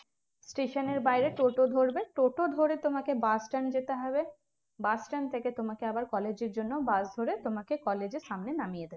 station এর বাইরে টোটো ধরবে টোটো ধরে তোমাকে bus stand যেতে হবে bus stand থেকে তোমাকে আবার college এর জন্য bus ধরে তোমাকে college এর সামনে নামিয়ে দেবে